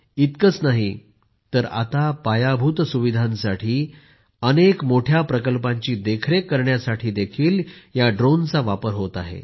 इतकेच नाही तर आता पायाभूत सुविधांसाठी अनेक मोठया प्रकल्पांची देखरेख करण्यासाठी ड्रोनचा वापर होत आहे